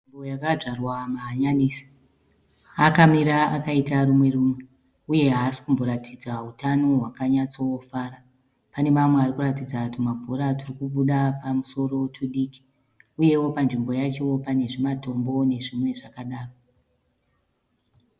Nzvimbo yakadzvarwa mahanyanisi akamira akaita rumwe rumwe uye haasi kumboratidza utano hwakanyatsofara, pane mamwe arikuratidza tumabhora turi kubuda pamusoro tudiki uyewo panzvimbo yacho pane zvimatombo nezvimwewo zvakadaro.